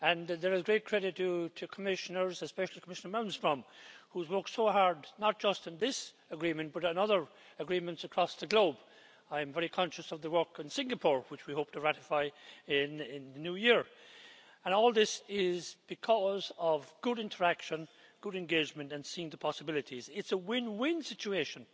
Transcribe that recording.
There is great credit due to the Commissioners, especially Commissioner Malmström who has worked so hard not just on this agreement but on other agreements across the globe. I'm very conscious of the work in Singapore, which we hope to ratify in the New Year, and all this is because of good interaction, good engagement and seeing the possibilities. It's a win win situation.